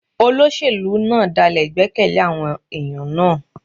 Olóṣèlú náà dálè ìgbẹ́kẹ̀lé àwọn ẹ̀yàn náà.